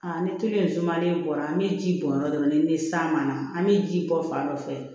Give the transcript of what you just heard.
ni tulu sumalen bɔra an bɛ ji bɔn yɔrɔ dɔ la ni san ma na an bɛ ji bɔ fan dɔ fɛ